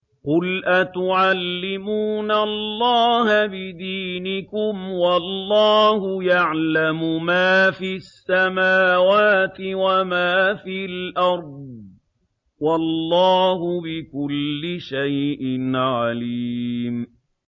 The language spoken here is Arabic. قُلْ أَتُعَلِّمُونَ اللَّهَ بِدِينِكُمْ وَاللَّهُ يَعْلَمُ مَا فِي السَّمَاوَاتِ وَمَا فِي الْأَرْضِ ۚ وَاللَّهُ بِكُلِّ شَيْءٍ عَلِيمٌ